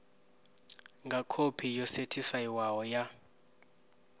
nga khophi yo sethifaiwaho ya